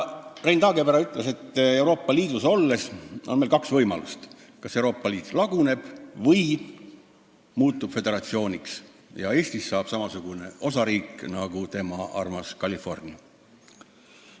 Rein Taagepera ütles, et Euroopa Liidus olles on meil kaks võimalust: kas Euroopa Liit laguneb või muutub föderatsiooniks ja Eestist saab samasugune osariik nagu tema armas California.